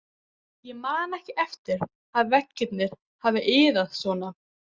Ég man ekki eftir að veggirnir hafi iðað svona